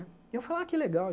E eu fala, ah que legal.